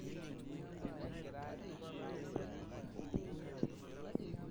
Kenarikino naa kelelek eoroto naa safii sii.